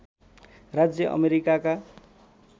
राज्य अमेरिकाका